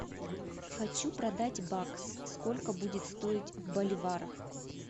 хочу продать бакс сколько будет стоить в боливарах